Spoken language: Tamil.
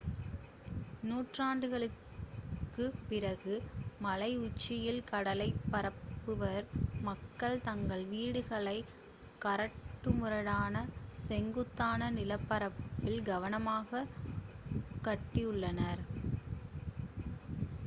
நூற்றாண்டுகளுக்கு பிறகு மலை உச்சியில் கடலைப் பார்த்தவாறு மக்கள் தங்கள் வீடுகளை கரடுமுரடான செங்குத்தான நிலப்பரப்பில் கவனமாக கட்டியுள்ளனர்